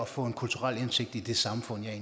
få en kulturel indsigt i det samfund jeg